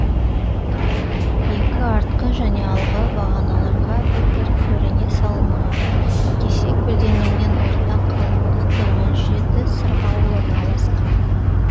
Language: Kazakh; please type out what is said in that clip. екі артқы және алғы бағаналарға бір бір бөрене салынған кесе көлденеңнен орта қалыңдықты он жеті сырғауыл орналасқан